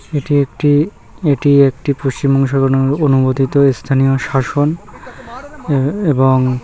এটি একটি এটি একটি পশ্চিমবঙ্গ অনুমোদিত স্থানীয় শাসন এবং--